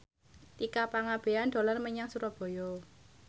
Tika Pangabean dolan menyang Surabaya